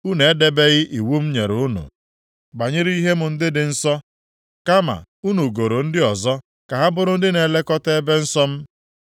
Unu edebeghị iwu m nyere unu banyere ihe m ndị dị nsọ, kama unu goro ndị ọzọ ka ha bụrụ ndị na-elekọta ebe nsọ m.